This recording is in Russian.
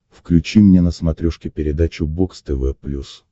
включи мне на смотрешке передачу бокс тв плюс